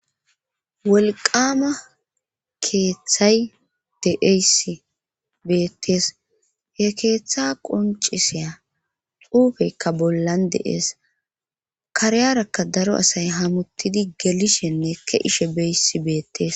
wolqama keeththay deeysi beettees he keeththa qoncisiya uufeykka bollan deees kariyarakka daro asay hamutidi gelishhenne ke ishe beysi beettees